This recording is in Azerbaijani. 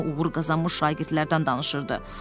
Hamı uğur qazanmış şagirdlərdən danışırdı.